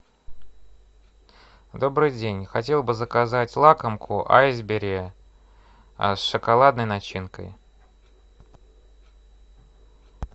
добрый день хотел бы заказать лакомку айсберри с шоколадной начинкой